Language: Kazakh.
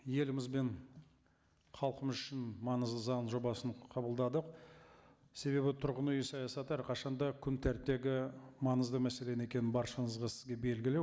еліміз бен халқымыз үшін маңызды заң жобасын қабылдадық себебі түрғын үй саясаты әрқашан да күн тәртіптегі маңызды мәселе екенін баршаңызға сіздерге белгілі